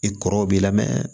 I kɔrɔw b'i la mɛ